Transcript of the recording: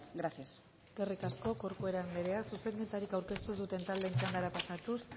gracias eskerrik asko corcuera anderea zuzenketarik aurkeztu ez duten taldeen txandara pasatuz